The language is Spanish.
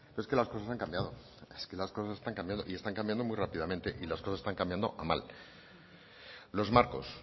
es que las cosas han cambiado es que las cosas están cambiando y están cambiando muy rápidamente y las cosas están cambiando a mal los marcos